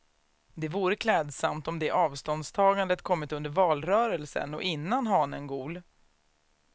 Det vore klädsamt om det avståndstagandet kommit under valrörelsen och innan hanen gol.